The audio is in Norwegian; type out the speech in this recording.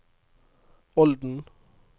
Olden